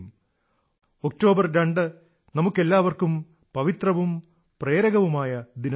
02 October നമുക്കെല്ലാവർക്കും പവിത്രവും പ്രേരകവുമായ ദിനമാണ്